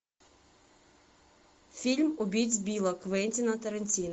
фильм убить билла квентина тарантино